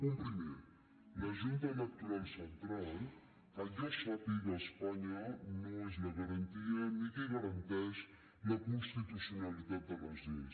punt primer la junta electoral central que jo sàpiga a espanya no és la garantia ni qui garanteix la constitucionalitat de les lleis